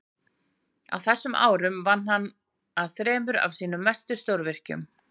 Á þessum árum vann hann að þremur af sínum mestu stórvirkjum.